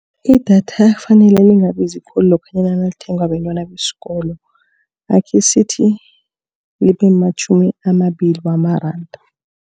Idatha kufanele lingabizi khulu lokhanyana nalithengwa bentwana besikolo. Akhe sithi, libe matjhumi amabili wamaranda.